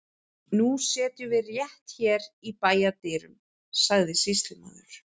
Nú setjum við rétt hér í bæjardyrum, sagði sýslumaður.